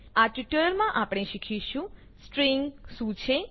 આ ટ્યુટોરીયલમાં આપણે શીખીશું સ્ટ્રિંગ શું છે